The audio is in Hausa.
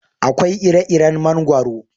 Akwai ire iren mangwaro